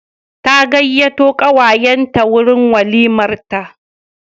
Ta gayyato kawayenta wurin walimarta.